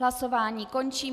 Hlasování končím.